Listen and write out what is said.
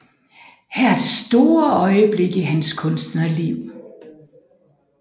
Her er det store øjeblik i hans kunstnerliv